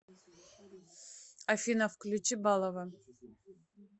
афина включи балова